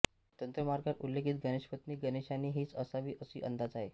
तंत्रमार्गात ऊल्लेखित गणेशपत्नी गणेशाणी हीच असावी असा अंदाज आहे